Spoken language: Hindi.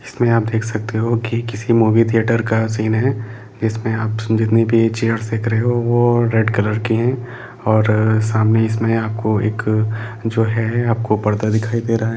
इसमें आप देख सकते हैं कि किसी मूवी थिएटर का सीन हैजिसमे आप जितनी भी चेयर देख रहे हैं वह रेड कॉलर की है और इसमें आपको एक परदा दिखाई दे रहा है।